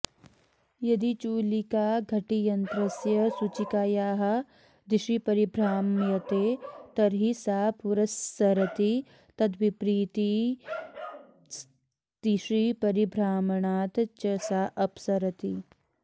यदि चूलिका घटीयन्त्रस्य सूचिकायाः दिशि परिभ्राम्यते तर्हि सा पुरस्सरति तद्विपरीतदिशि परिभ्रामणात् च सा अपसरति